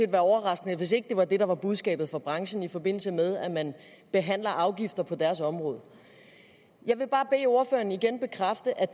overraskende hvis ikke det var det der var budskabet fra branchen i forbindelse med at man behandler afgifter på deres område jeg vil bare bede ordføreren igen bekræfte at